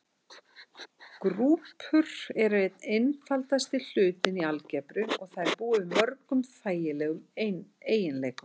Grúpur eru einn einfaldasti hluturinn í algebru og þær búa yfir mörgum þægilegum eiginleikum.